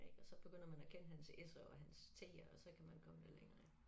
Ik og så begynder man at kende hans s'er og hans t'er og så kan man komme lidt længere ik